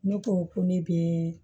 Ne ko ko ne bɛ